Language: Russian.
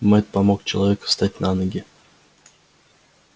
мэтт помог человеку встать на ноги